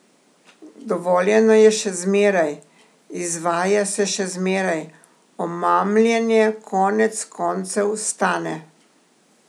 Dovoljeno je še zmeraj, izvaja se še zmeraj, omamljenje konec koncev stane.